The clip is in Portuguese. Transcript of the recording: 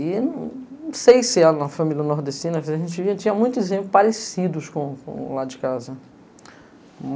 E não sei se na família nordestina a gente tinha muitos exemplos parecidos com lá de casa.